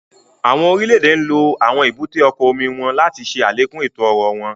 Awọn orile-ede nlo awọn èbúté ọkọ ojú omi wọn láti ṣe alekun eto-ọrọ wọn